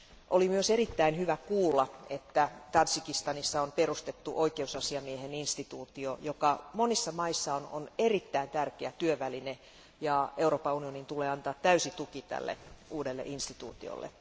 Oli myös erittäin hyvä kuulla, että Tadžikistanissa on perustettu oikeusasiamiehen instituutio, joka monissa maissa on erittäin tärkeä työväline, ja Euroopan unionin tulee antaa täysi tuki tälle uudelle instituutiolle.